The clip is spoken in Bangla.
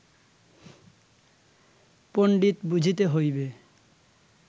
পণ্ডিত বুঝিতে হইবে